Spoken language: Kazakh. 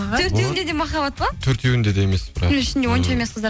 төртеуінде де махаббат па төртеуінде де емес бірақ ішінде онша емес қыздар